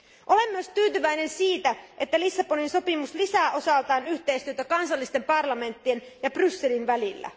Olen myös tyytyväinen siihen, että Lissabonin sopimus lisää osaltaan yhteistyötä kansallisten parlamenttien ja Brysselin välillä.